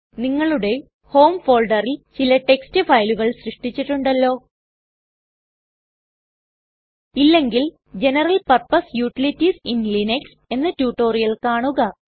നിങ്ങളുടെ ഹോം ഫോൾഡറിൽ ചില ടെക്സ്റ്റ് ഫയലുകൾ സൃഷ്ടിച്ചിട്ടുണ്ടല്ലോ ഇല്ലെങ്കിൽ ജനറൽ പർപ്പസ് യൂട്ടിലിറ്റീസ് ഇൻ Linuxഎന്ന റ്റുറ്റൊരിയൽ കാണുക